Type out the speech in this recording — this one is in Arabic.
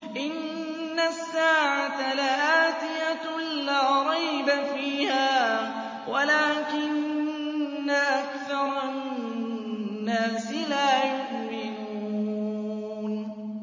إِنَّ السَّاعَةَ لَآتِيَةٌ لَّا رَيْبَ فِيهَا وَلَٰكِنَّ أَكْثَرَ النَّاسِ لَا يُؤْمِنُونَ